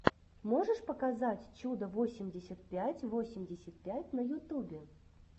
можешь показать чудо восемьдесят пять восемьдесят пять на ютубе